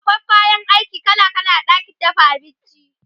akwai kayan aiki kala kala a ɗakin dafa abinci